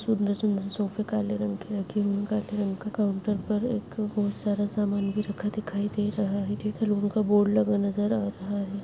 सुंदर-सुंदर सोफे काले रंग के रखे है एक काले रंग के काउंटर पर बहुत सारा समान भी रखा दिखाई दे रहा है का बोर्ड नजर आ रहा है।